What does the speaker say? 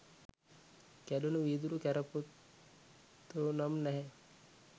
කැඩුණු වීදුරු කැරපොත්තො නම් නැහැ.